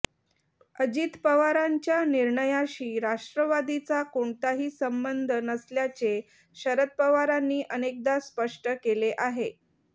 अजित पवारांच्या निर्णयाशी राष्ट्रवादीचा कोणताही संबंध नसल्याचे शरद पवारांनी अनेकदा स्पष्ट केले आहे